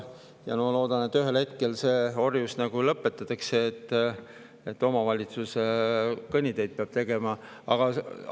Ma loodan, et ühel hetkel see orjus lõpetatakse, et omavalitsuse kõnniteid peab tegema.